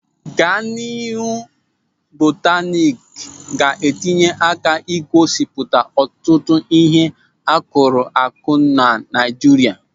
Gadịnụ bọtanịk ga-enye aka ị gosipụta ọtụtụ ịhe a kụrụ akụ nọ na Naịjirịa.